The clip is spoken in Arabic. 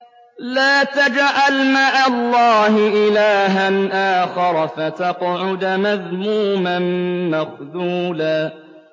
لَّا تَجْعَلْ مَعَ اللَّهِ إِلَٰهًا آخَرَ فَتَقْعُدَ مَذْمُومًا مَّخْذُولًا